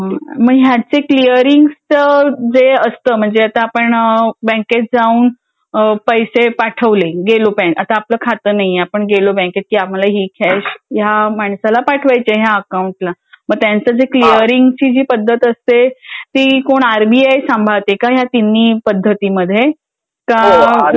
मग याचं क्लिअरिंगचं जे असतं म्हणजे आता आपण बँकेत जाऊन पैसे पाठवले. गेलो बँके आता आपला खाता नाहीये. आपण गेलो बँकेत. की आम्हाला हि कॅश या माणसाला पाठवायची या अकाउंटला मग त्यांचं जे क्लियरिंगची जे पद्धत असते. ती कूण आरबीआय सांभाळते का या तिन्ही पद्धतीमध्ये ? का!